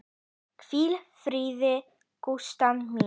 Hvíl í fríði, Gústa mín.